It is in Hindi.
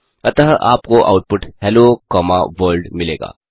अतः आपको आउटपुट हेलो कॉमा वर्ल्ड मिलेगा